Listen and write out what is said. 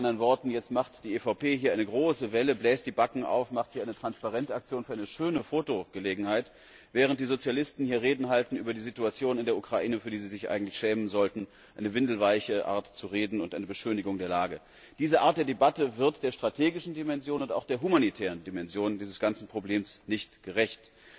Mit anderen Worten Jetzt macht die EVP hier eine große Welle, bläst die Backen auf, macht hier eine Transparent Aktion für eine schöne Fotogelegenheit, während die Sozialisten hier Reden halten über die Situation in der Ukraine, für die sie sich eigentlich schämen sollten. Eine windelweiche Art zu reden und eine Beschönigung der Lage. Diese Art der Debatte wird der strategischen Dimension und auch der humanitären Dimension dieses Problems nicht gerecht.